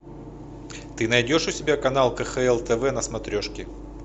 ты найдешь у себя канал кхл тв на смотрешке